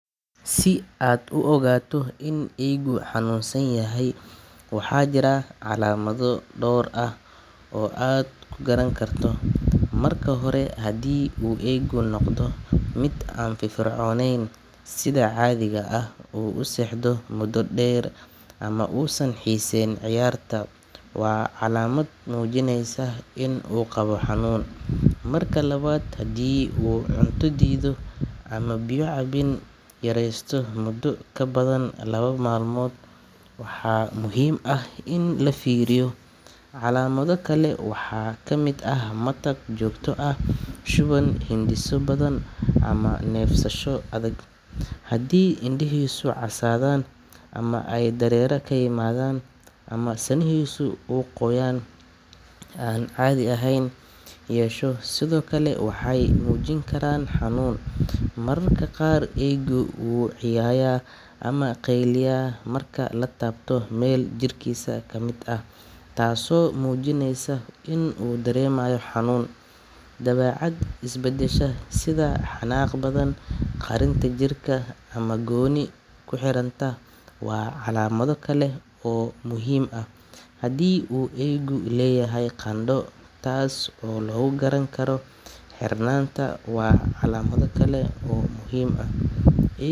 Si mulkiilaha guriga iyo kiraystaha ay si wanaagsan ugala hadlaan bixinta kirada ama dayactirka guriga, waa in ay isticmaalaan isgaarsiin furan, xushmad leh oo waqtigeeda ah. Marka hore, kiraystuhu waa in uu si degan ula xiriiro mulkiilaha haddii ay jirto dhibaato dhanka dayactirka ah, sida koronto go’an, biyo dillaacay ama qalab jabay. Wuxuu qoraal ahaan ugu soo diri karaa fariin ama wici karaa si uu si cad ugu sharaxo waxa u baahan in la hagaajiyo. Dhinaca kale, mulkiilaha waa inuu tixgeliyaa cabashadaas kana jawaabaa muddo gaaban gudaheed, sida saddex ilaa shan maalmood. Marka ay timaado bixinta kirada, kiraystuhu waa inuu hubiyaa in uu bixiyo kirada waqtigeeda, sida bisha kowdeeda ama labaad, iyadoo la raacayo heshiiska ay horey u galeen. Haddii ay dhacdo in uu kiraystuhu la kulmo caqabado dhaqaale, waa muhiim in uu si degdeg ah ula xiriiro mulkiilaha si ay uga wada hadlaan xal, sida dib u dhigista bixinta ama qaybin bil kasta. Labada dhinac waa.